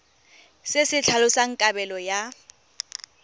se se tlhalosang kabelo ya